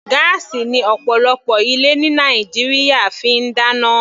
Gáásì ni ọ̀pọ̀lọpọ̀ ilé ní Nàìjíríà fi ń dáná.